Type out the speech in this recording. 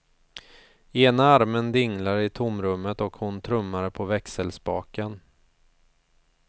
Ena armen dinglade i tomrummet och hon trummade på växelspaken.